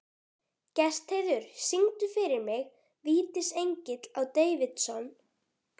Gestheiður, syngdu fyrir mig „Vítisengill á Davidson“.